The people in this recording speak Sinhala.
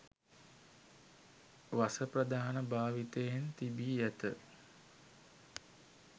වස ප්‍රධාන භාවිතයන් තිබී ඇත